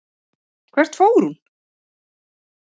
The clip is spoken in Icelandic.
Hvert fór hún?